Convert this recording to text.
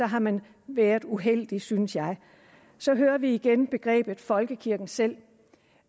har man været uheldig synes jeg så hører vi igen begrebet folkekirken selv